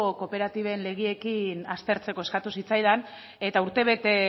kooperatiben legeekin aztertzeko eskatu zitzaidan eta urtebete